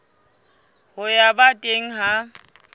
ya ho ba teng ha